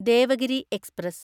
Devagiri express